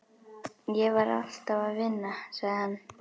Ég var alltaf að vinna, sagði hann.